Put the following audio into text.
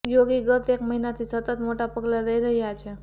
યોગી ગત એક મહિનાથી સતત મોટા પગલાં લઈ રહ્યાં છે